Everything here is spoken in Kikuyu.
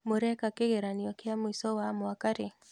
Mũreka kĩgeranio kĩa mũico wa mwaka rĩ?